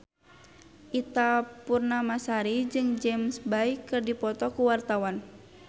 Ita Purnamasari jeung James Bay keur dipoto ku wartawan